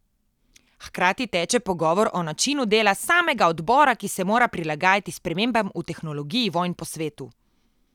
Hkrati teče pogovor o načinu dela samega odbora, ki se mora prilagajati spremembam v tehnologiji vojn po svetu.